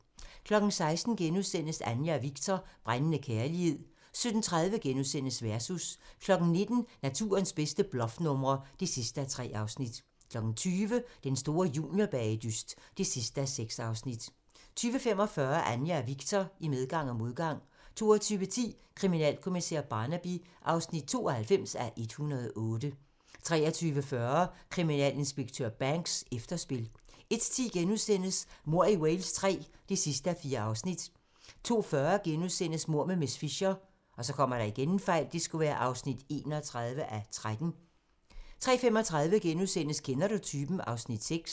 16:00: Anja og Viktor - brændende kærlighed * 17:30: Versus * 19:00: Naturens bedste bluffnumre (3:3) 20:00: Den store juniorbagedyst (6:6) 20:45: Anja og Viktor - I medgang og modgang 22:10: Kriminalkommissær Barnaby (92:108) 23:40: Kriminalinspektør Banks: Efterspil 01:10: Mord i Wales III (4:4)* 02:40: Mord med miss Fisher (31:13)* 03:35: Kender du typen? (Afs. 6)*